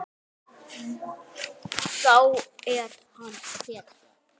Þá er hann hetja.